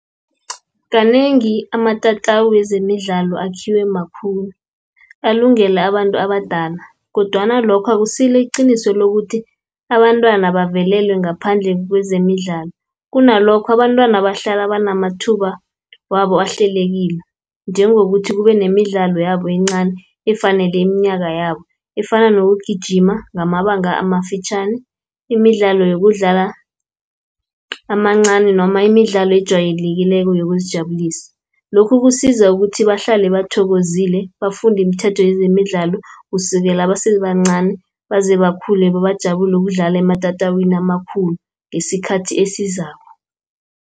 Kanengi amatatawu wezemidlalo akhiwe makhulu, alungele abantu abadala, kodwana lokho akusilo iqiniso lokuthi abantwana bavelelwe ngaphandle kwezemidlalo. Kunalokho abantwana bahlala banamathuba wabo ahlelekile, njengokuthi kubenemidlalo yabo encani, efanele iminyaka yabo, Efana nokugijima ngamabanga amafitjhani, imidlalo yokudlala amancani noma imidlalo ejwayelekileko yokuzijabulisa. Lokhu kusiza ukuthi bahlale bathokozile bafunde imithetho yezemidlalo, kusukela basebancani bazebakhule bebajabule, ukudlala ematatawini amakhulu ngesikhathi esizako.